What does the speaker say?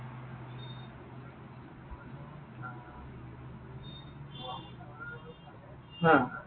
হা।